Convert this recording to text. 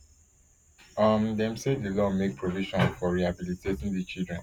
um dem say di law make provision for rehabilitating di children